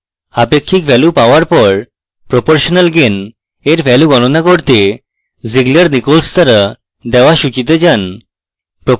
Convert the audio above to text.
অপেক্ষিত value পাওয়ার পর proportional gain এর value গণনা করতে zieglernichols দ্বারা দেওয়া সূচীতে যান